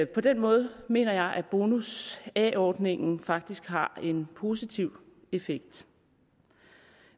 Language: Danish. på den måde mener jeg at bonus a ordningen faktisk har en positiv effekt